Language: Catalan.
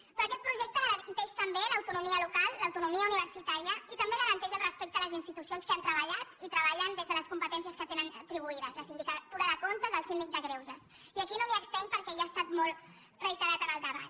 però aquest projecte garanteix també l’autonomia local l’autonomia universitària i també garanteix el respecte a les institucions que han treballat i treballen des de les competències que tenen atribuïdes la sindicatura de comptes el síndic de greuges i aquí no m’estenc perquè ja ha estat molt reiterat en el debat